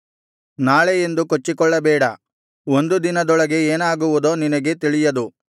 ನಾಳೆ ಎಂದು ಕೊಚ್ಚಿಕೊಳ್ಳಬೇಡ ಒಂದು ದಿನದೊಳಗೆ ಏನಾಗುವುದೋ ನಿನಗೆ ತಿಳಿಯದು